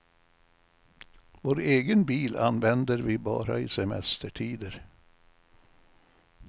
Vår egen bil använder vi bara i semestertider.